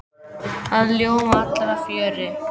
Það ljóma allir af fjöri.